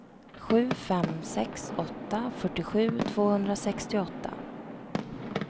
sju fem sex åtta fyrtiosju tvåhundrasextioåtta